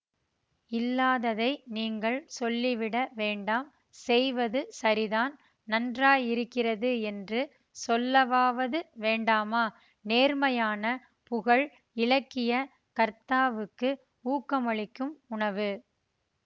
இல்லாததை நீங்கள் சொல்லிவிட வேண்டாம் செய்வது சரிதான் நன்றாயிருக்கிறது என்று சொல்லவாவது வேண்டாமா நேர்மையான புகழ் இலக்கிய கர்த்தாவுக்கு ஊக்கமளிக்கும் உணவு